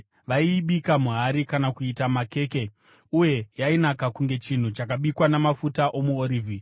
Vaiibika muhari kana kuita makeke. Uye yainaka kunge chinhu chakabikwa namafuta omuorivhi.